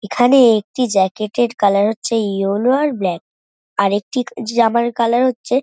এখানেএএএ একটি জ্যাকেট- এর কালার হচ্ছে ইয়োলো আর ব্ল্যাক । আরেকটি জামার কালার হচ্ছে --